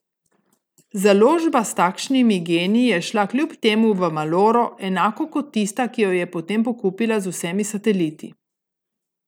Založba s takšnimi geniji je šla kljub temu v maloro, enako kot tista, ki jo je potem pokupila z vsemi sateliti.